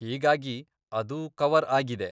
ಹೀಗಾಗಿ ಅದು ಕವರ್ ಆಗಿದೆ.